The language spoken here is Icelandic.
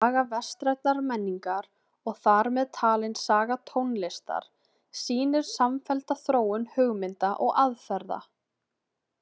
Saga vestrænnar menningar og þar með talin saga tónlistar sýnir samfellda þróun hugmynda og aðferða.